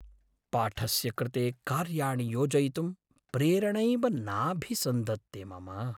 पाठस्य कृते कार्याणि योजयितुं प्रेरणैव नाभिसन्धत्ते मम।